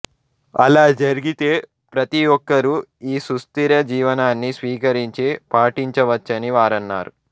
అలా జరిగితే ప్రతి ఒక్కరూ ఈ సుస్థిర జీవనాన్ని స్వీకరించి పాటించవచ్చని వారన్నారు